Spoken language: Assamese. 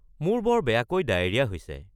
মোৰ বৰ বেয়াকৈ ডায়েৰিয়া হৈছে।